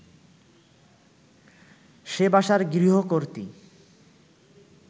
সে বাসার গৃহকর্ত্রী